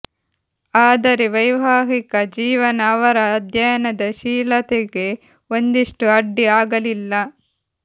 ಆದರೆ ವೈವಾಹಿಕ ಜೀವನ ಅವರ ಅಧ್ಯಯನ ಶೀಲತೆಗೆ ಒಂದಿಷ್ಟೂ ಅಡ್ಡಿ ಆಗಲಿಲ್ಲ